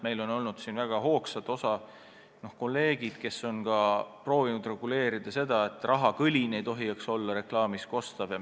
Meil on olnud kolleege, kes on väga hoogsalt proovinud seda reguleerida – rahakõlin ei tohi reklaamis kosta.